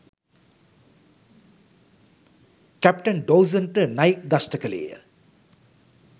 captain ඩෝසන්ට නයෙක් දෂ්ඨ කළේය